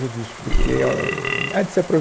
disso porque óh, é de se